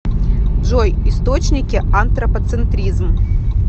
джой источники антропоцентризм